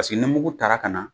Paseke ni mugugu tara ka na